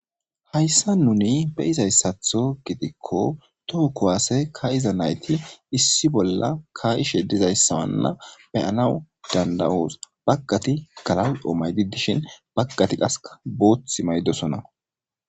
Hayisani nuni beyizayisatho nuni gidikko toho kuwase kaxiza nayiti issi bola kaishe dizayisa betishe danawu danidaosi bagati galalio mayidi dishini qasi bagati boththu mayidi deosoona